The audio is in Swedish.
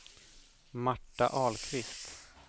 Marta Ahlqvist